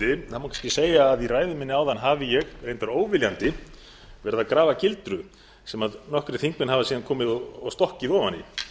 má kannski segja að í ræðu minni áðan hafi ég reyndar óviljandi verið að grafa gildru sem nokkrir þingmenn hafa síðan komið og stokkið ofan í þetta